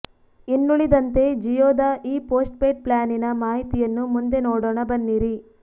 ಇನ್ನುಳಿದಂತೆ ಜಿಯೋದ ಈ ಪೋಸ್ಟ್ಪೇಯ್ಡ್ ಪ್ಲ್ಯಾನಿನ ಮಾಹಿತಿಯನ್ನು ಮುಂದೆ ನೋಡೋಣ ಬನ್ನಿರಿ